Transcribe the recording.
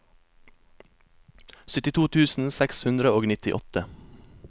syttito tusen seks hundre og nittiåtte